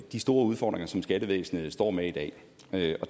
de store udfordringer som skattevæsenet står med i dag det